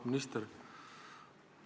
Auväärt minister!